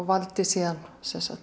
valdi síðan